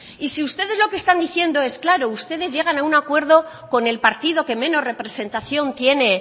y si ustedes lo que están diciendo es claro ustedes llegan a un acuerdo con el partido que menos representación tiene